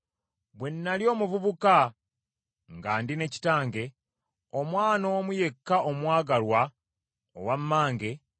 Bwe nnali omuvubuka nga ndi ne kitange, omwana omu yekka omwagalwa, owa mmange,